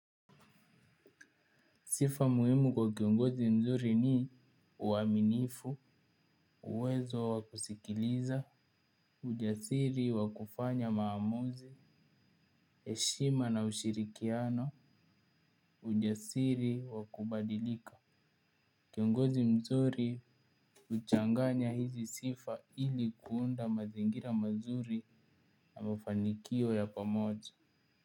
Sifa muhimu kwa kiongozi mzuri ni uaminifu, uwezo wa kusikiliza, ujasiri wa kufanya maamuzi, eshima na ushirikiano, ujasiri wa kubadilika. Kiongozi mzuri uchanganya hizi sifa ili kuunda mazingira mazuri na mafanikio ya pamoja.